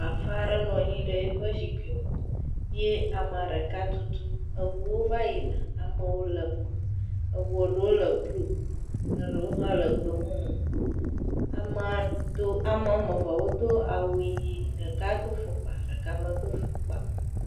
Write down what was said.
Bafa aɖe nɔ anyi ɖe efe zikpui me ye amea ɖeka tutum eʋuwo va yina amewo le eme ʋu aɖewo le blu ɖewo ha le gbemumu amewo ame eve wodo awu ɣi ɖeka do afɔkpa ɖeka medo afɔkpa o